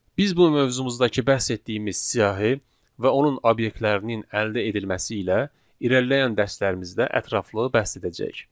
Biz bu mövzumuzdakı bəhs etdiyimiz siyahı və onun obyektlərinin əldə edilməsi ilə irəliləyən dərslərimizdə ətraflı bəhs edəcəyik.